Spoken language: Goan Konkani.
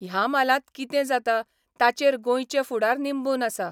ह्या म्हालांत कितें जाता ताचेर गोंयचे फुडार निंबून आसा.